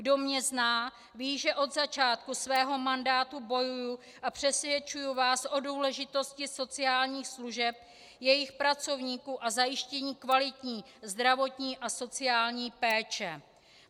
Kdo mě zná, ví, že od začátku svého mandátu bojuji a přesvědčuji vás o důležitosti sociálních služeb, jejich pracovníků a zajištění kvalitní zdravotní a sociální péče.